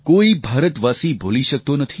કોઈ ભારતવાસી ભૂલી શકતો નથી